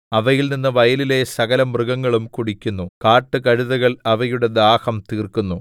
അവയിൽ നിന്ന് വയലിലെ സകലമൃഗങ്ങളും കുടിക്കുന്നു കാട്ടുകഴുതകൾ അവയുടെ ദാഹം തീർക്കുന്നു